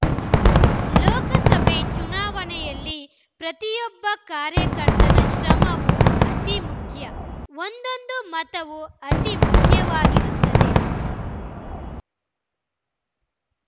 ಲೋಕಸಭೆ ಚುನಾವಣೆಯಲ್ಲಿ ಪ್ರತಿಯೊಬ್ಬ ಕಾರ್ಯಕರ್ತನ ಶ್ರಮವೂ ಅತಿ ಮುಖ್ಯ ಒಂದೊಂದು ಮತವೂ ಅತಿ ಮುಖ್ಯವಾಗಿರುತ್ತದೆ